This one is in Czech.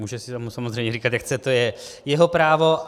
Může si tomu samozřejmě říkat, jak chce, to je jeho právo.